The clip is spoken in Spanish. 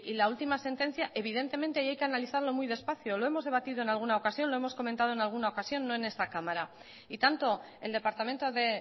la última sentencia evidentemente ahí hay que analizarlo muy despacio lo hemos debatido en alguna ocasión lo hemos comentado en alguna ocasión no en esa cámara y tanto el departamento de